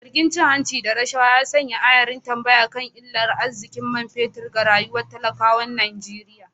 Zargin cin hanci da rashawa ya sanya ayar tambaya kan illar arzikin man fetur ga rayuwar talakawan Najeriya.